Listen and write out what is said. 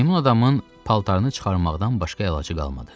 Meymun adamın paltarını çıxarmaqdan başqa əlacı qalmadı.